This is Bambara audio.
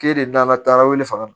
K'e de nana taa wele faga